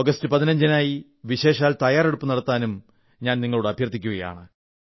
ആഗസറ്റ് 15 നായി വിശേഷാൽ തയ്യാറെടുപ്പു നടത്താനും അഭ്യർത്ഥിക്കുന്നു